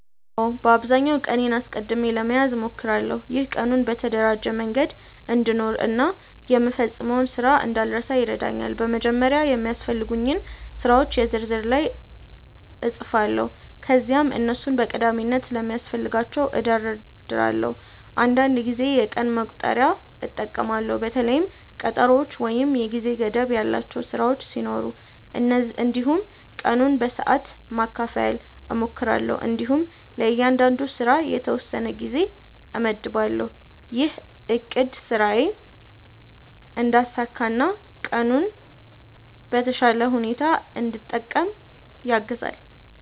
አዎ፣ በአብዛኛው ቀኔን አስቀድሜ ለመያዝ እሞክራለሁ። ይህ ቀኑን በተደራጀ መንገድ እንድኖር እና የምፈጽመውን ስራ እንዳልረሳ ይረዳኛል። በመጀመሪያ የሚያስፈልጉኝን ስራዎች የ ዝርዝር ላይ እጻፋለሁ ከዚያም እነሱን በቀዳሚነት እንደሚያስፈልጋቸው እደርዳለሁ። አንዳንድ ጊዜ የቀን መቁጠሪያ እጠቀማለሁ በተለይም ቀጠሮዎች ወይም የጊዜ ገደብ ያላቸው ስራዎች ሲኖሩ። እንዲሁም ቀኑን በሰዓት ማካፈል እሞክራለሁ እንዲሁም ለእያንዳንዱ ስራ የተወሰነ ጊዜ እመድባለሁ። ይህ አቅድ ስራዬን እንዳሳካ እና ቀኑን በተሻለ ሁኔታ እንድጠቀም ያግዛኛል።